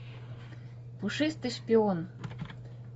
пушистый шпион